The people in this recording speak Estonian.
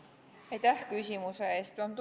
Aitäh küsimuse eest!